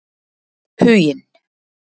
Huginn